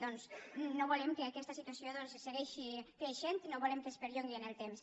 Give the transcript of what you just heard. doncs no volem que aquesta situació segueixi creixent no volem que es perllongui en el temps